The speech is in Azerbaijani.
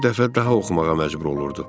Bir dəfə daha oxumağa məcbur olurdu.